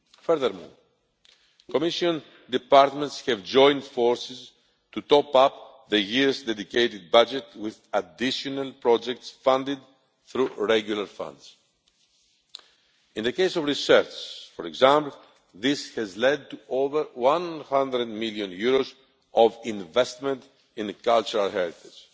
Furthermore, Commission departments have joined forces to top up the Year's dedicated budget with additional projects funded through regular funds. In the case of research, for example, this has led to over EUR 100 million of investment in cultural heritage.